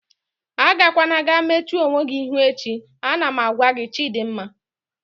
Agakwana ga-mechuo onwe gị ihu echi! Ana m agwa gị Chidimma